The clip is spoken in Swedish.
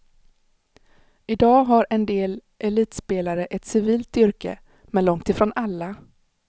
I dag har en del elitspelare ett civilt yrke, men långt ifrån alla.